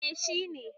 eh. shi ne